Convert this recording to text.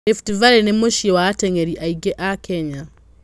Rift Valley nĩ mũciĩ wa aten'geri aingĩ a Kenya.